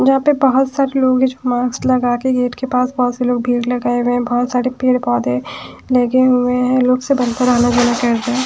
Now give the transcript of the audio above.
यहां पे बहुत सारे लोग हैं जो मास्क लगा के गेट के पास बहुत से लोग भीड़ लगाए हुए हैंबहुत सारे पेड़ पौधे लगे हुए हैं लोग सब अंदर आना जाना करते है--